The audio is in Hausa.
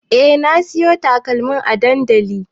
E na siyo takalmin a dandali